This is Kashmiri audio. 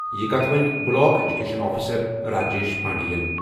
یہِ کتھَ وۄنی بُلاک ایجوکیشن آفیسر راجیش پانڈینَ۔